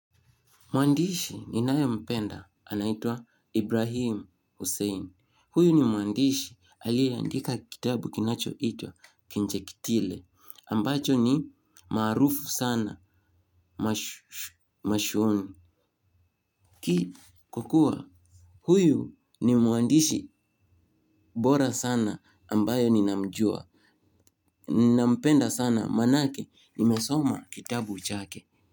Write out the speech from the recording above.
Mwandishi ninayo mpenda anaitwa Ibrahim Hussein. Huyu ni mwandishi aliyeandika kitabu kinacho itwa kinjekitile. Ambacho ni maarufu sana machooni. Ki kukua huyu ni mwandishi bora sana ambayo ninamjua. Nampenda sana manake nimesoma kitabu chake.